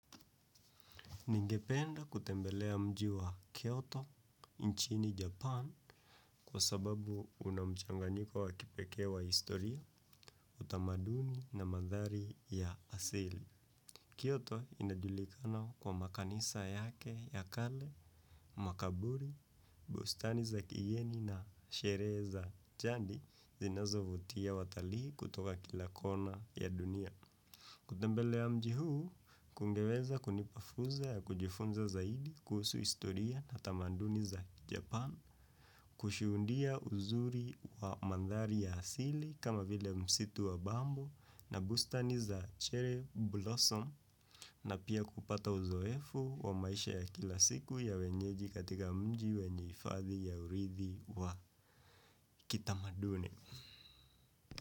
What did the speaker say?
Ningependa kutembelea mji wa Kyoto, inchini Japan, kwa sababu unamchanganyiko wa kipekee wa historia, utamaduni na mandhari ya asili. Kyoto, inajulikana kwa makanisa yake ya kale, makaburi, bustani za kiyeni na sherehe za jandi zinazovutia watalii kutoka kila kona ya dunia. Kutembelea mji huu, kungeweza kunipa fursa ya kujifunza zaidi kuhusu historia na utamaduni za kijapan, kushudia uzuri wa mandhari ya asili kama vile msitu wa bamo na bustani za che blossom na pia kupata uzoefu wa maisha ya kila siku ya wenyeji katika mji wenye hifadhi ya urithi wa kitamaduni.